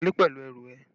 Wọlé pẹ̀lú ẹrù ẹ!